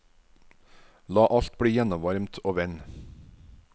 La alt bli gjennomvarmt og vend.